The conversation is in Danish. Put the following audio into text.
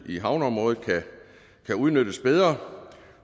i havneområdet kan udnyttes bedre